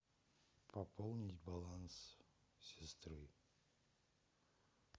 пополнить баланс сестры